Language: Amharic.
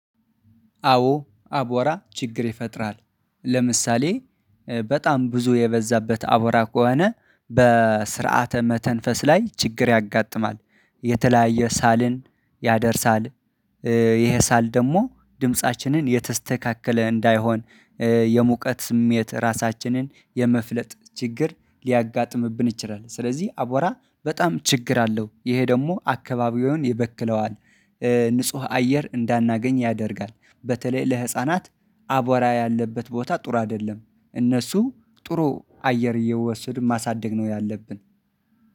አዎ አቧራ ችግር ይፈጥራል። ለምሳሌ በጣም ብዙ የበዛበት አቧራ ከሆነ በስርዓተ መተንፈስ ላይ ችግር ያጋጥማል የተለያየ ሳልን ያደርሳል። ይሄ ሳል ደግሞ ድምፃችንን የተስተካከለ እንዳይሆን የሙቀት ስሜት ራሳችንን የመፍለጥ ችግር ሊያጋጥምብን ይችላል። ስለዚህ አቧራ በጣም ችግር አለው ይሄ ደግሞ አካባቢውን ይበክለዋል። ንጹህ አየር እንዳናገኝ ያደርጋል በተለይ ለህፃናት አቧራ ያለበት ቦታ ጥሩ አይደለም። እነሱ ጥሩ አየር እየወሰዱ ማሳደግ ነው ያለብን